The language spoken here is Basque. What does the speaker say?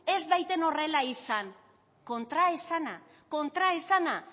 ez daiten horrela izan kontraesana kontraesana